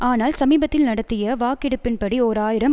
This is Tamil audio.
ஆனால் சமீபத்தில் நடத்திய வாக்கெடுப்பின் படி ஓர் ஆயிரம்